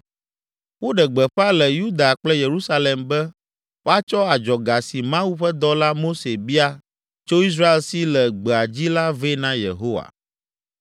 Woɖe gbeƒã le Yuda kple Yerusalem be woatsɔ adzɔga si Mawu ƒe dɔla Mose bia tso Israel si le gbea dzi la vɛ na Yehowa.